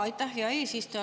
Aitäh, hea eesistuja!